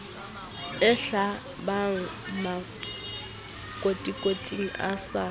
e hlabang makotikoti a sa